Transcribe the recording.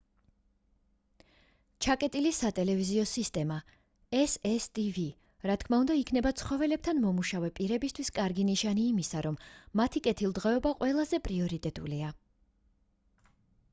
ჩაკეტილი სატელევიზიო სისტემა cctv რა თქმა უნდა იქნება ცხოველებთან მომუშავე პირებისთვის კარგი ნიშანი იმისა რომ მათი კეთილდღეობა ყველაზე პრიორიტეტულია.